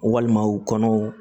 Walima u kɔnɔw